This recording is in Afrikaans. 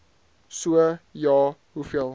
so ja hoeveel